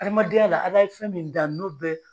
Adamadenya la a bɛ fɛn min dan n'o bɛɛ